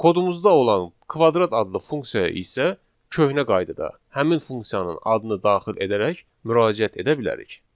Kodumuzda olan kvadrat adlı funksiyaya isə köhnə qaydada həmin funksiyanın adını daxil edərək müraciət edə bilərik.